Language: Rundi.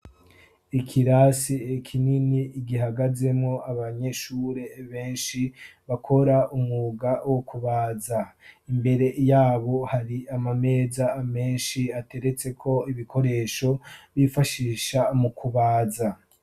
Ikirasi kinini gihagazemwo abanyeshure benshi bakora umwuga wo kubaza, imbere yabo hari amameza menshi ateretseko ibikoresho bifashisha mu kubaza.